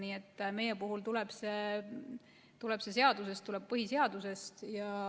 Nii et meie puhul tuleb see seadusest, põhiseadusest.